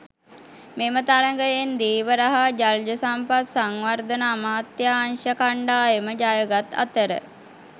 මෙම තරගයෙන් ධීවර හා ජලජ සම්පත් සංවර්ධන අමාත්‍යාංශ කණ්ඩායම ජයගත් අතර